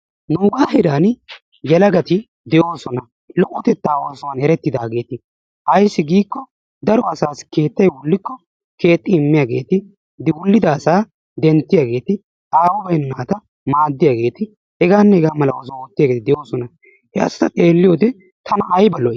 Nuugaa heeraani yelagati d"oosona. Lo"otetaa oosuwan erettidaageeti. Ayissi giiko daro asaassi keettay wollikko keexxi immiyaageeti wullida asaa denttiyaageeti aawu bayinna naata maaddiyaageeti hegaanne hegaa mala oosuwa oottiyaageeti de"oosona. He asata xeelliyoode tana ayiba lo"i!